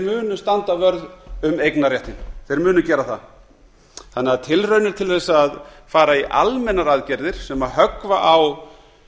munu standa vörð um eignarréttinn þeir munu gera það þannig að tilraunir til þess að fara í almennar aðgerðir sem höggva á